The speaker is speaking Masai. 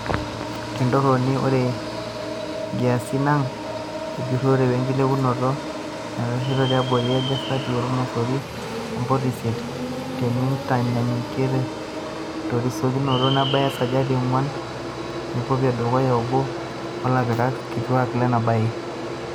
Tentoroni, ore nkiasin ang ejurore wenkilepunoto neitasho tiabori esajati olmosori o mpoint isiet teinintanyanyukia terisokinoto nabaya esajati enguan e kopikop e dukuya, oboo o lapikaki kituak lena baye.